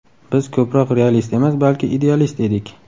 Biz ko‘proq realist emas, balki idealist edik.